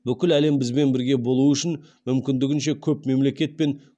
бүкіл әлем бізбен бірге болу үшін мүмкіндігінше көп мемлекет пен